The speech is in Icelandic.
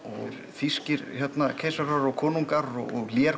þýskir keisarar og konungar og